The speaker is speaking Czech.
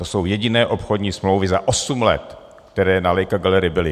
To jsou jediné obchodní smlouvy za osm let, které na Leica Gallery byly.